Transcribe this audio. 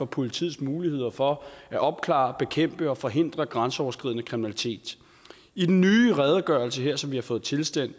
politiets muligheder for at opklare bekæmpe og forhindre grænseoverskridende kriminalitet i den nye redegørelse her som vi har fået tilsendt